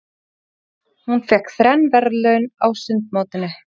Hún fékk þrenn verðlaun á sundmótinu.